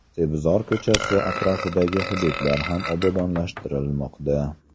Sebzor ko‘chasi atrofidagi hududlar ham obodonlashtirilmoqda.